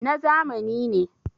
na zamani ne